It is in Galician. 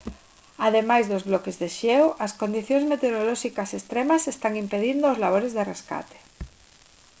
ademais dos bloques de xeo as condicións meteorolóxicas extremas están impedindo os labores de rescate